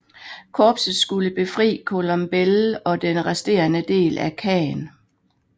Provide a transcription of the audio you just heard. Korpset skulle befri Colombelles og den resterende del af Caen